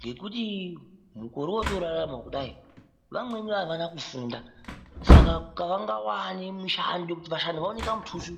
Ngekuti mukore wotorarama kudai vamweni avana kufunda saka havangawani mushando wekuti vashande vaone kamutuso